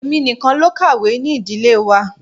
Èmi nìkan ló kàwé ní Ìdílé wa.